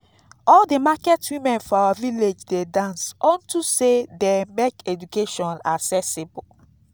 all the market women for our village dey dance unto say dey make education accessible